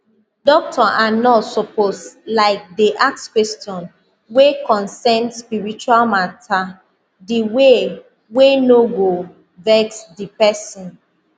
doctor and nurse suppose likedey ask question wey consain spiritual matter di way wey no go vex di pesin